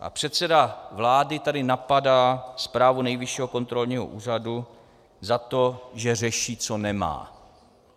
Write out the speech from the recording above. A předseda vlády tady napadá zprávu Nejvyššího kontrolního úřadu za to, že řeší, co nemá.